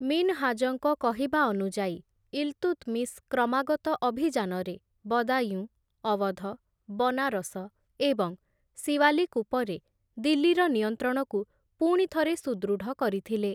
ମିନ୍‌ହାଜଙ୍କ କହିବା ଅନୁଯାୟୀ, ଇଲ୍‌ତୁତ୍‌ମିଶ୍‌ କ୍ରମାଗତ ଅଭିଯାନରେ ବଦାୟୁଁ, ଅୱଧ, ବନାରସ ଏବଂ ସିୱାଲିକ୍‌ ଉପରେ ଦିଲ୍ଲୀର ନିୟନ୍ତ୍ରଣକୁ ପୁଣି ଥରେ ସୁଦୃଢ଼ କରିଥିଲେ ।